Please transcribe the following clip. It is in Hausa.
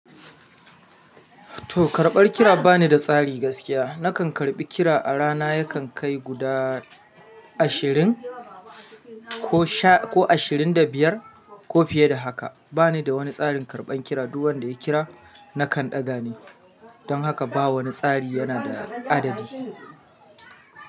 To karɓar kira bani da tsari gaskiya. Nakan karɓi kira a rana yakan kai guda ashirin ko sha- ko ashirin da biyar ko fiye da haka. Bani da wani tsarin karɓan kira, duk wanda ya kira nakan ɗaga ne. Don haka ba wani tsari yana da adadi.